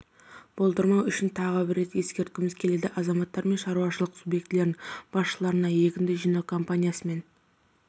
болдырмау үшін тағы бір рет ескерткіміз келеді азаматтар мен шаруашылық субъектілерінің басшыларына егінді жинау кампаниясымен